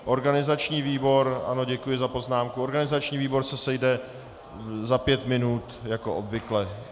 Organizační výbor, ano, děkuji za poznámku, organizační výbor se sejde za pět minut jako obvykle.